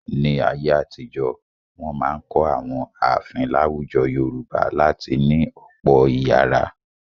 Ní ayé-àtijọ, wọn máa ń kọ́ àwọn ààfin láwùjọ Yorùbá láti ní ọ̀pọ̀ ìyàrá.